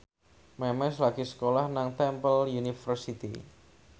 Memes lagi sekolah nang Temple University